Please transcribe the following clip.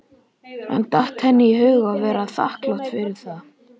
En datt henni í hug að vera þakklát fyrir það?